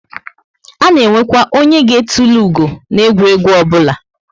A na enwekwa onye ga etulu ugo na egwuregwu obula